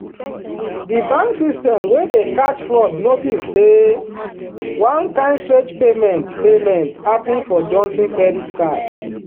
the bank system wey dey catch fraud notice say one kain strange payment payment happen for johnson credit card.